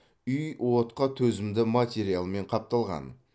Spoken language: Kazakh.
үй отқа төзімді материалмен қапталған